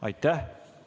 Aitäh!